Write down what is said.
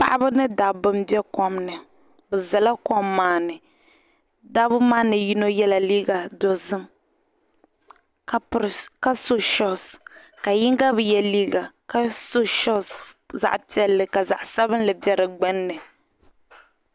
Paɣiba ni dabba n be kom ni. bɛ ʒala kom maa ni , dabi maa ni yinɔ yela liiga dozim. kaso shoes, ka yiŋga biye liiga, ka so shoes zaɣi piɛli. ka zaɣisabinli do di gbuni.